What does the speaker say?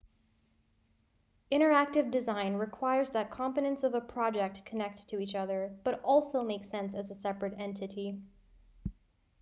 interactive design requires that components of a project connect to each other but also make sense as a separate entity